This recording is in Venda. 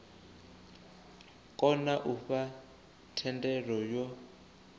kona u fha thendelo yo